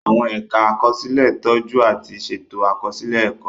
Àwọn ẹ̀ka àkọsílẹ̀ ń tọ́jú àti ṣètò àkọsílẹ̀ ẹ̀kọ́.